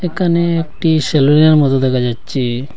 একানে একটি সেলুনের মতো দেখা যাচ্ছে।